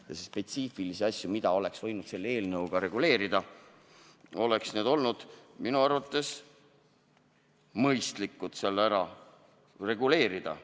Need spetsiifilised asjad, mida oleks võinud selle eelnõuga reguleerida, oleks minu arvates olnud mõistlik seal ära reguleerida.